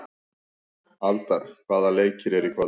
Aldar, hvaða leikir eru í kvöld?